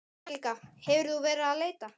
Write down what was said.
Helga: Hefur þú verið að leita?